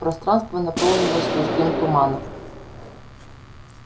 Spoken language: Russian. пространство наполнилось густым туманом